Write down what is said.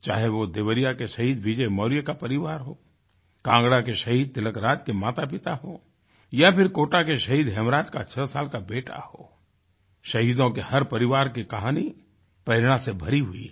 चाहे वो देवरिया के शहीद विजय मौर्य का परिवार हो कांगड़ा के शहीद तिलकराज के मातापिता हों या फिर कोटा के शहीद हेमराज का छः साल का बेटा हो शहीदों के हर परिवार की कहानीप्रेरणा से भरी हुई हैं